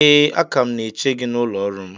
Ee, a ka m na-eche gị n’ụlọ ọrụ m